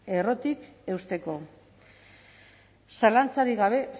errotik eusteko zalantzarik gabe